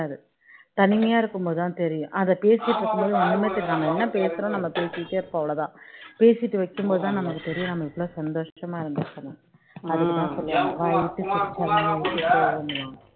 தனிமையா இருக்கும்போது தான் தெரியும் அதே பேசிட்டு இருக்கும் போது ஒன்னுமே தெரியாது நம்ம என்ன பேசுறோம் நம்ம பேசிகிட்டே இருப்போம் அவ்ளோதான் பேசிட்டு வைக்கும்போது தான் நமக்கு தெரியும் நம்ம எவ்ளோ சந்தோஷமா இருந்திருக்கோம்னு அதுக்கு தான் சொல்லுவாங்க வாய்விட்டு சிரித்தால் நோய் விட்டு போகும்னு